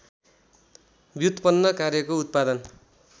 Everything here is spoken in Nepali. व्युत्पन्न कार्यको उत्पादन